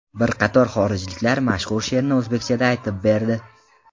Bir qator xorijliklar mashhur she’rni o‘zbekchada aytib berdi .